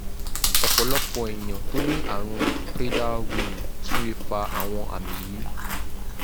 ọ̀pọ̀lọpọ̀ èèyàn tó ní àrùn prader-willi tún lè fa àwọn àmì yìí